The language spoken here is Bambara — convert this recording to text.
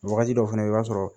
Wagati dɔw fana na i b'a sɔrɔ